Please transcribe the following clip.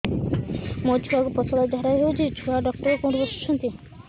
ମୋ ଛୁଆକୁ ପତଳା ଝାଡ଼ା ହେଉଛି ଛୁଆ ଡକ୍ଟର କେଉଁଠି ବସୁଛନ୍ତି